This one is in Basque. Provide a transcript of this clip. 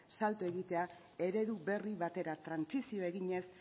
salto egitea eredu berri batera trantsizioa eginez